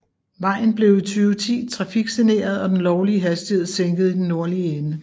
Vejen blev i 2010 trafiksaneret og den lovlige hastighed sænket i den nordlige ende